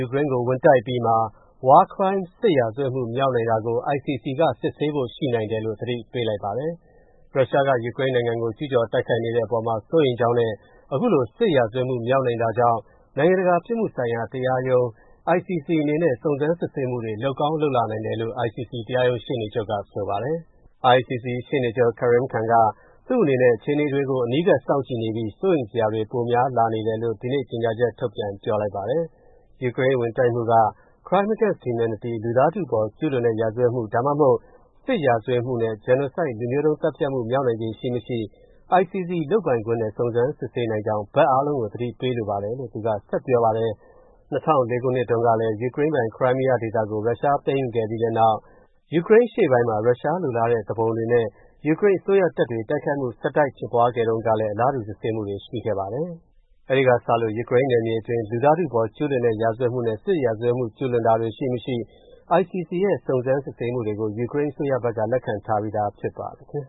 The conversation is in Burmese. ူကရိန်းကို ဝင်တိုက်အပြီးမှာ War Crime စစ်ရာဇဝတ်မှုမြောက်နိုင်တာကို ICC က စစ်ဆေးဖို့ ရှိနိုင်တယ်လို့ ဆိုလိုက်ပါတယ်။ ရုရှားက ယူကရိန်းနိုင်ငံကို ကျူးကျော် တိုက်ခိုက်နေတဲ့ အပေါ်မှာစိုးရိမ်ကြောင်းနဲ့ အခုလို စစ်ရာဇဝတ်မှုမြောက်နိုင်တာကြောင့် နိုင်ငံတကာ ပြစ်မှုဆိုင်တရာတရားရုံး ICC အနေနဲ့ စုံစမ်းစစ်ဆေးမှုတွေလုပ်ကောင်း လုပ်လာနိုင်တယ်လို့ ICC တရားရုံး ရှေ့နေ့ချုပ်က ဆိုပါတယ်။ ICC ရှေ့နေချုပ် Karim Khan က သူ့အနေနဲ့ အခြေအနေတွေကို အနီးကပ် စောင့်ကြည့်နေပြီး စိုးရိမ်စရာတွေ ပိုများ နေလာတယ်လို့ ဒီနေ့ ကြေညာချက်ထုတ်ပြန်ပြောလိုက်ပါတယ်။ ယူကရိန်းဝင်တိုက်တာက Crime against Humanity လူသားထုအပေါ်ကျူးလွန်တဲ့ရာဇဝတ်မှု ဒါမှမဟုတ် စစ်ရာဇဝတ်မှုနဲ့ Genocide လူမျိုးတုံးသတ်ဖြတ်မှု မြောက်နိုင်ခြေရှိမရှိ ICC လုပ်ပိုင်ခွင့်နဲ့ စုံစမ်းစစ်ဆေးနိုင်ကြောင်း သက်ဆိုင်သူအားလုံးကို သတိပေးလိုတယ်လို့ သူက ဆက်ပြောပါတယ်။ ၂၀၁၄ ခုနှစ်တုန်းကလည်း ယူကရိန်းပိုင် ခရိုင်းမီးယားဒေသကို ရုရှားသိမ်းယူခဲ့ပြီးနောက် ယူကရိန်း အရှေ့ပိုင်းမှာ ရုရှားလိုလားတဲ့ သူပုန်တွေနဲ့ ယူကရိန်းအစိုးရတပ်တွ တိုက်ခိုက်မှုဆက်တိုက် ဖြစ်ပွားခဲ့တုံးကလည်း အလားတူ စစ်ဆေးမူတွေရှိခဲံပါတယ်။ အဲ့ဒီကစလို့ ယူကရိန်း နယ်မြေတွေအတွင်း လူသားထုအပေါ် ကျူးလွန်တဲ့ ရာဇဝတ်မှုနဲ့ စစ်ရာဇဝတ်မှု ကျူးလွန်တာတွေ ရှိ မရှိ ICC ရဲ့ စုံးစမ်း စစ်ဆေးမှုတွေကို ယူကရိန်း အစိုးရဘက်က လက်ခံထားပြီးသားဖြစ်ပါတယ်။